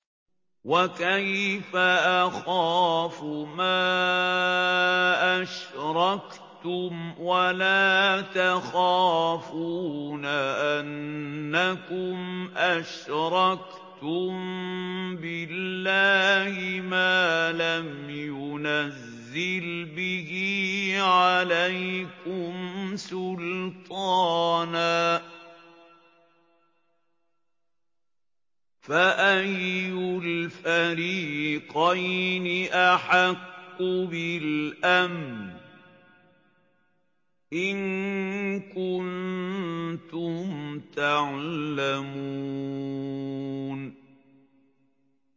وَكَيْفَ أَخَافُ مَا أَشْرَكْتُمْ وَلَا تَخَافُونَ أَنَّكُمْ أَشْرَكْتُم بِاللَّهِ مَا لَمْ يُنَزِّلْ بِهِ عَلَيْكُمْ سُلْطَانًا ۚ فَأَيُّ الْفَرِيقَيْنِ أَحَقُّ بِالْأَمْنِ ۖ إِن كُنتُمْ تَعْلَمُونَ